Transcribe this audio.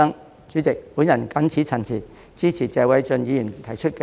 代理主席，我謹此陳辭，支持謝偉俊議員提出的議案。